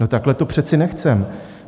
No, takhle to přece nechceme.